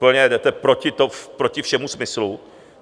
Úplně jdete proti všemu smyslu.